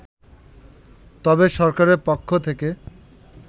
তবে সরকারের পক্ষ থেকে